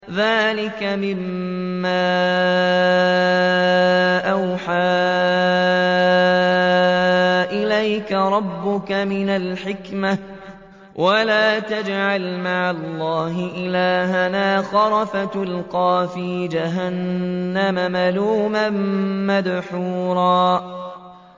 ذَٰلِكَ مِمَّا أَوْحَىٰ إِلَيْكَ رَبُّكَ مِنَ الْحِكْمَةِ ۗ وَلَا تَجْعَلْ مَعَ اللَّهِ إِلَٰهًا آخَرَ فَتُلْقَىٰ فِي جَهَنَّمَ مَلُومًا مَّدْحُورًا